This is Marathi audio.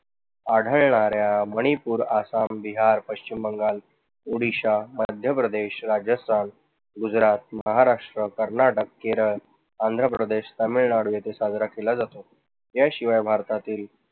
आढळणाऱ्या मणिपूर, आसाम, बिहार, पश्चिम बंगाल, उड़ीसा, मध्य प्रदेश, राजस्थान, गुजरात, महाराष्ट्र, कर्नाटक, केरळ, आंध्रप्रदेश, तामिळनाडू येथे साजरा केला जातो. या शिवाय भारतातील